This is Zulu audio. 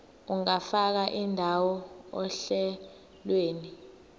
ungafaka indawo ohlelweni